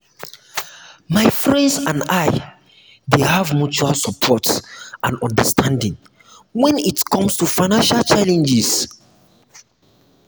my friends and i dey have mutual support and understanding when it comes to financial challenges.